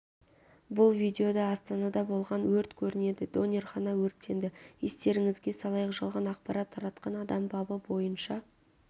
бұл видеода астанада болған өрт көрінеді донерхана өртенді естеріңізге салайық жалған ақпарат таратқан адам бабы бойынша